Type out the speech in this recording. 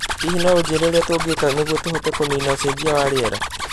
Hihi no ũnjĩĩre ũrĩa tũngĩka nĩguo tũhote kũniina ũcejia wa rĩera